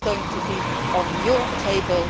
week. It is going to be on your table.